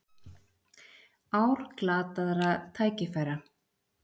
Ár glataðra tækifæra